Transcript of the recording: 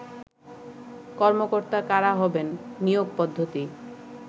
কর্মকর্তা কারা হবেন, নিয়োগ পদ্ধতি